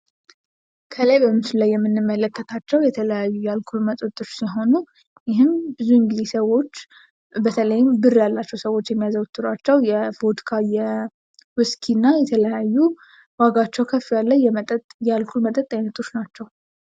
ምስሉ ላይ የምንመለከተው የአልኮል መጠጦች ሲሆኑ ብዙ ጊዜ ብር ያላቸው ሰዎች የሚያዘወትሯቸው የፖድካ፣ ውስኪ፣ እና የተለያዩ ዋጋቸው ከፍ ያለ የአልኮል መጠጦች ናቸው።